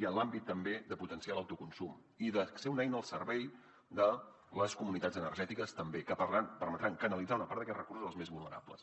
i en l’àmbit també de potenciar l’autoconsum i de ser una eina al servei de les comunitats energètiques també que permetran canalitzar una part d’aquests recursos als més vulnerables